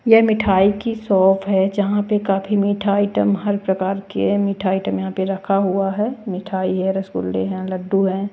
यह मिठाई की शॉप है जहाँ पे काफी मीठा आइटम हर प्रकार के मीठा आइटम यहाँ पे रखा हुआ है मिठाई है रसगुल्ले हैं लड्डू हैं।